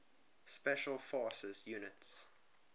special forces units